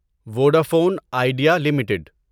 Vodafone Idea limited